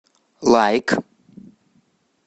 лайк